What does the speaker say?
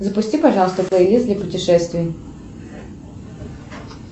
запусти пожалуйста плейлист для путешествий